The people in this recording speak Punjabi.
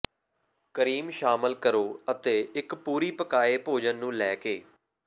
ਕਰੀਮ ਸ਼ਾਮਲ ਕਰੋ ਅਤੇ ਇੱਕ ਪੂਰੀ ਪਕਾਏ ਭੋਜਨ ਨੂੰ ਲੈ ਕੇ